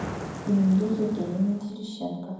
эмилии евгеньевне терещенко